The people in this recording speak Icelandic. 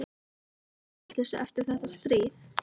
Það var allt í vitleysu eftir þetta stríð.